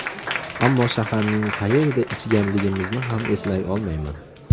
Ammo shaharning qayerida ichganligimizni ham eslay olmayman.